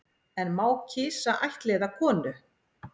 En má kisa ættleiða konu